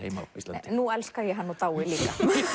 á Íslandi nú elska ég hann og dái líka